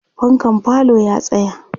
fankan falo ya tsaya